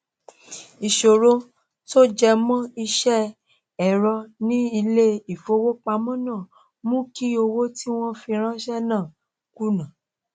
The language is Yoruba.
ìṣòro tó jẹ mọ iṣẹ ẹrọ ní ilé ìfowópamọ náà ló mú kí owó tí wọn fi ránṣẹ náà kùnà